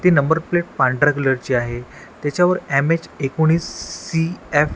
ती number plate पांढऱ्या colour ची आहे त्याच्यावर एम_एच एकोणवीस सी_एफ --